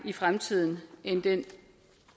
i fremtiden end den